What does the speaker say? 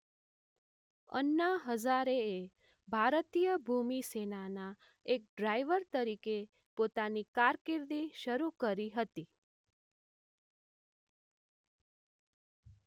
અણ્ણા હઝારેએ ભારતીય ભૂમિ સેનાના એક ડ્રાઈવર તરીકે પોતાની કારકિર્દી શરૂ કરી હતી